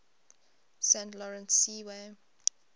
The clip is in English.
saint lawrence seaway